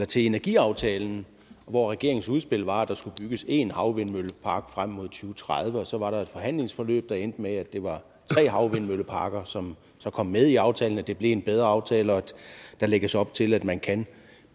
til energiaftalen hvor regeringens udspil var at der skulle bygges en havvindmøllepark frem mod to tusind og tredive og så var der et forhandlingsforløb der endte med at det var tre havvindmølleparker som så kom med i aftalen og det blev en bedre aftale og der lægges op til at man kan